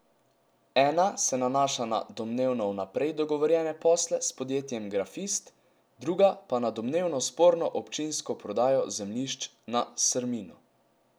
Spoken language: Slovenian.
Ena se nanaša na domnevno vnaprej dogovorjene posle s podjetjem Grafist, druga pa na domnevno sporno občinsko prodajo zemljišč na Srminu.